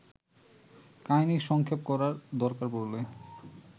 কাহিনি সংক্ষেপ করার দরকার পড়লে